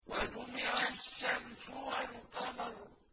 وَجُمِعَ الشَّمْسُ وَالْقَمَرُ